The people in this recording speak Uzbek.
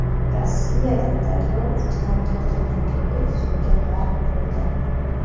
Rossiyada daryo ustidan tortilgan ko‘prik suvga g‘arq bo‘ldi.